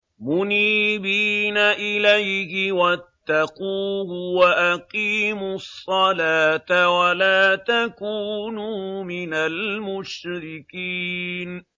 ۞ مُنِيبِينَ إِلَيْهِ وَاتَّقُوهُ وَأَقِيمُوا الصَّلَاةَ وَلَا تَكُونُوا مِنَ الْمُشْرِكِينَ